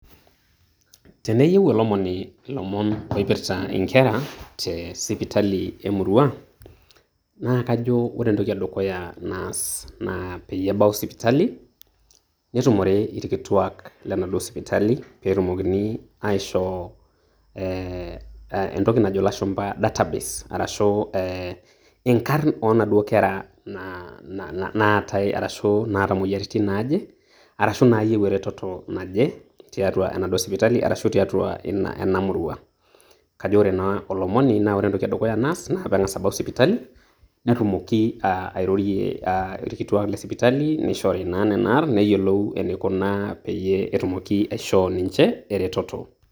Teneyieu Olomoni ilomon oipirta inkera tee sipitali emurua, naa kajo kore entoki edukuya naas naa peyie ebau sipitali, netumore ilkituak lenaduo sipitali peeetumokini aishoo ee entoki najo ilashumba data base arashu ee ing'arn onaaduo kera naa na naatai, arashu naata imoyiaritin naaje, arashu nayieu erototo naje tiatua enaduo sipitali arashu tiatua ina ena murua. Kajo ore naa olomoni naa ore entoki edukuya naas naa peeenkas abau sipitali netumoki aa airorie aa irkituak lesipitali nishori naa nena arn, neyiolou enikunaa peyie etumoki aishoo ninje eretoto.